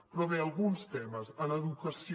però bé alguns temes en educació